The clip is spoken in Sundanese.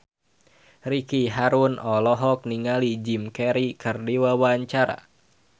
Ricky Harun olohok ningali Jim Carey keur diwawancara